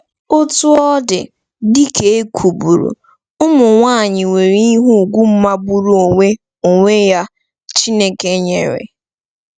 Otú ọ dị, dị ka e kwuburu, ụmụ nwanyị nwere ihe ùgwù magburu onwe onwe ya Chineke nyere.